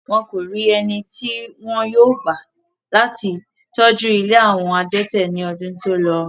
Wọ́n kò rí eni tí wọn yóò gbà láti tọ́jú ilé àwọn adẹ́tẹ̀ ní ọdún tí ó lọ.